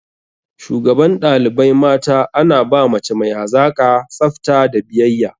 Shugaban ɗalibai mata ana ba mace mai hazaƙa, tsafta da biyayya.